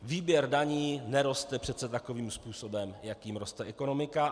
Výběr daní neroste přece takovým způsobem, jakým roste ekonomika.